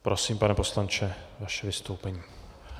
Prosím, pane poslanče, vaše vystoupení.